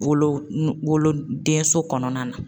Wolo nu wolo denso kɔnɔna na